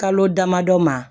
Kalo damadɔ ma